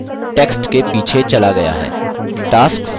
यहाँ आयत text के पीछे चला गया है